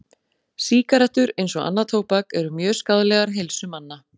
Sígarettur, eins og annað tóbak, eru mjög skaðlegar heilsu manna.